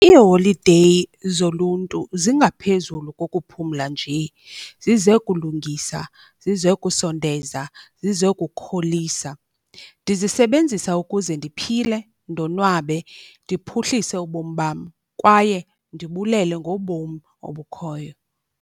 Iiholideyi zoluntu zingaphezulu kokuphumla njee. Zize kulungisa, zize kusondeza, zize kukholisa. Ndizisebenzisa ukuze ndiphile, ndonwabe ndiphuhlise ubomi bam, kwaye ndibulele ngobom obukhoyo.